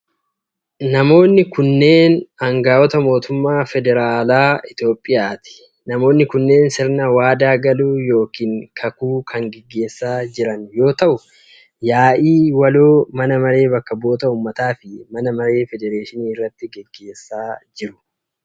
Namoonni kunneen aangawoota mootummaa federaalaa Itoophiyaati. Namoonni kunneen sirna waadaa galuu yookin kakuu kan gaggeessaa jiran yoo ta'u, yaa'ii waloo mana maree bakka bu'oota ummataa fi mana maree federeeshinii irratti gaggeessaa jiru.